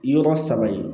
Yɔrɔ saba yen